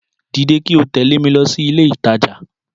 Dìde kí o tẹ̀lẹ́ mi lọ sí ilé ìtajà